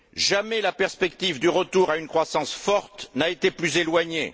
Jamais la perspective du retour à une croissance forte n'a été plus éloignée.